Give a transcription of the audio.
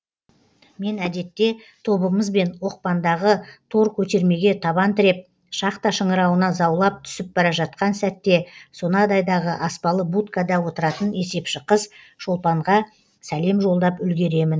мен әдетте тобымызбен оқпандағы тор көтермеге табан тіреп шахта шыңырауына заулап түсіп бара жатқан сәтте сонадайдағы аспалы будкада отыратын есепші қыз шолпанға сәлем жолдап үлгеремін